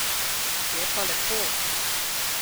Je pa lepo.